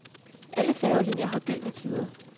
Alle færgelinier har gyldne tider.